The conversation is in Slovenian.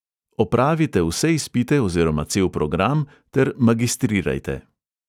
Opravite vse izpite oziroma cel program ter magistrirajte.